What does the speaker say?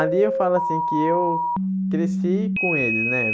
Ali eu falo assim que eu cresci com eles, né?